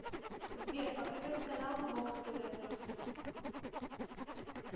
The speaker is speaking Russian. сбер показать каналы бокс тв плюс